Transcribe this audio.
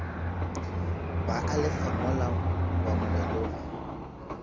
ba a lefa mola boamogelong